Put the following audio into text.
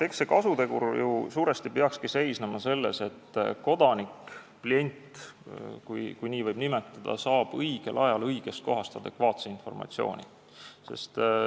Eks see kasutegur suuresti peakski ju seisnema selles, et kodanik – klient, kui nii võib nimetada – saab õigel ajal õigest kohast adekvaatse informatsiooni.